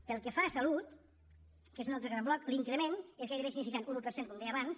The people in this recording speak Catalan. pel que fa a salut que és un altre gran bloc l’increment és gairebé insignificant un un per cent com deia abans